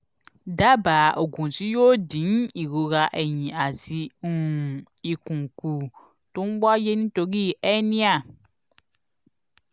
dábàá ògùn tí yóò dín ìrora ẹ̀yìn àti um ikùn kù tó ń wáyé nítorí hernia